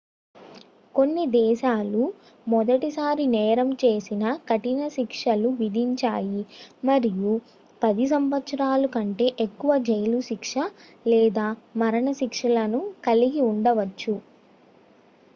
కొన్ని దేశాలు మొదటిసారి నేరం చేసినా కఠినశిక్షలు విధించాయి మరియు 10 సంవత్సరాల కంటే ఎక్కువ జైలు శిక్ష లేదా మరణశిక్ష లను కలిగి ఉండవచ్చు